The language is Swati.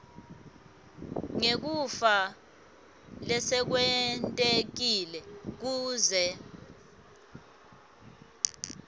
ngekufa lesekwentekile kuze